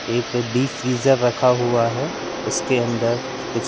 एक deep freezer रखा हुआ है उसके अंदर कुछ--